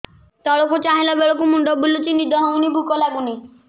ତଳକୁ ଚାହିଁଲା ବେଳକୁ ମୁଣ୍ଡ ବୁଲୁଚି ନିଦ ହଉନି ଭୁକ ଲାଗୁନି